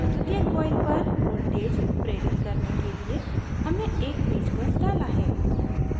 द्वितीयक coil पर voltage प्रेरित induce voltage करने के लिए हमने एक पेंचकस डाला है